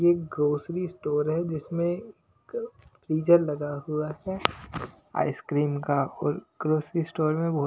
ये grocery store है जिसमें फ्रीजर लगा हुआ है आइसक्रीम का और ग्रोसरी स्टोर में वो--